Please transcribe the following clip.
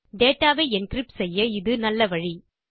data வை encrypt செய்ய இது நல்ல வழி